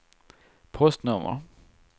postnummer